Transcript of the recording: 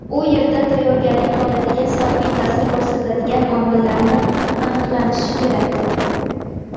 u yerda tayyorgarlik holatiga salbiy ta’sir ko‘rsatadigan omillarni aniqlanishi kerak.